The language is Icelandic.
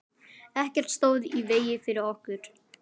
Ekkert stóð í vegi fyrir okkur.